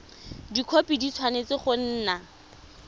dikhopi di tshwanetse go nna